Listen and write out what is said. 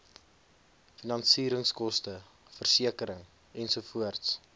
finansieringskoste versekering ensovoorts